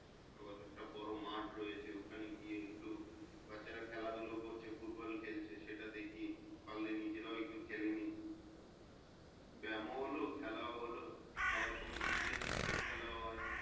আবার একটা বড়ো মাঠ রয়েছে ওখানে গিয়ে একটু বাচ্চারা খেলাধুলো করছে football খেলছে সেটা দেখি। পারলে নিজেরাও একটু খেলে নিই ব্যামও হলো খেলাও হলো। আবার কোনো কোনো দিন cricket খেলাও হয়।